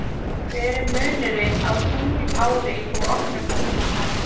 Hver er munurinn á tunglári og okkar tímatali?